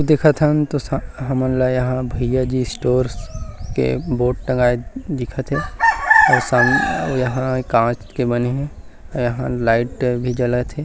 अऊ देखतन तो सा हमन ल यहाँ भैया जी स्टोर के बोर्ड टँगाए दिखत हे अऊ सामने यहाँ कांच के बने हे यहाँ लाइट भी जलत हे।